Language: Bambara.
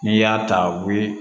N'i y'a ta u bi